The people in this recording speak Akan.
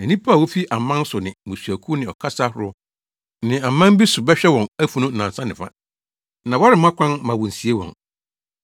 Na nnipa a wofi aman so ne mmusuakuw ne ɔkasa ahorow ne aman bi so bɛhwɛ wɔn afunu nnansa ne fa, na wɔremma kwan mma wonsie wɔn.